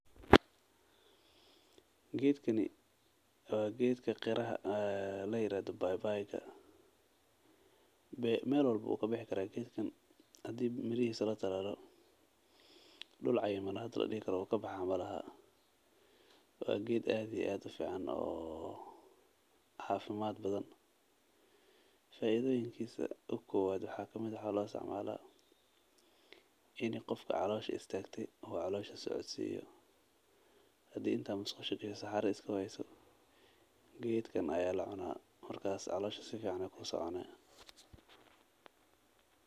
Geedkani waa geedka ladaho baybayda meel walbo ayuu kabixi karaa hadii mirahiisa la talaalo aad iyo aad ayuu ufican yahay geedkan waana cafimaad geekanwayaa lacunaa.